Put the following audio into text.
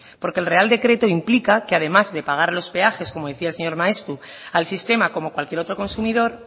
porque el real decreto implica que además de pagar los peajes como decía el señor maeztu al sistema como cualquier otro consumidor